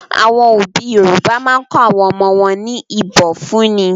Àwọn òbí Yorùbá máa ń kọ́ àwọn ọmọ wọn ní ìbọ̀fúnni.